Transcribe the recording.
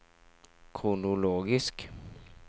kronologisk